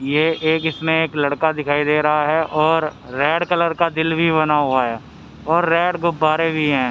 ये एक इसमें एक लड़का दिखाई दे रहा है और रेड कलर का दिल भी बना हुआ है और रेड गुब्बारे भी हैं।